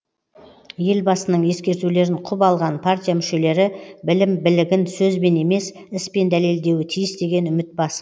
елбасының ескертулерін құп алған партия мүшелері білім білігін сөзбен емес іспен дәлелдеуі тиіс деген үміт басым